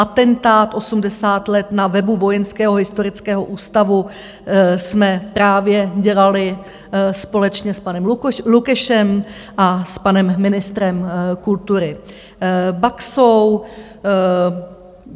Atentát 80 let na webu Vojenského historického ústavu jsme právě dělali společně s panem Lukešem a s panem ministrem kultury Baxou.